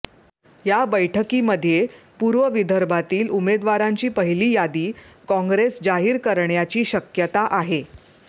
या बैठकीमध्ये पूर्व विदर्भातील उमेदवारांची पहिली यादी काँग्रेस जाहीर करण्याची शक्यता आहे